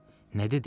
Nə dedi?